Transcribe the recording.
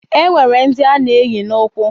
Enwere ndi ana eyi na ukwu